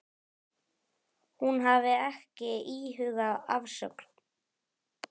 Hún hafi ekki íhugað afsögn.